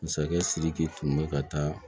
Masakɛ sidiki tun bɛ ka taa